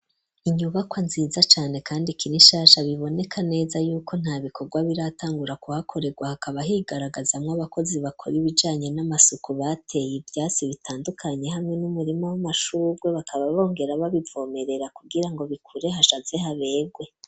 Inyubakwa nziza cane kandi ikirishasha biboneka neza y'uko nta bikorwa biratangura kuhakoregwa . Hakaba higaragaza mw’abakozi bakora ibijanye n'amasuku, bateye ivyatsi bitandukanye hamwe n'umurima w'amashururwe, bakaba bongera babivomerera kugira ngo bikure hashaze haberwe.